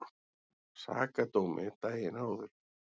Sakadómi daginn áður.